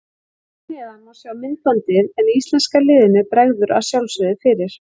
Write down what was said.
Hér að neðan má sjá myndbandið en íslenska liðinu bregður að sjálfsögðu fyrir.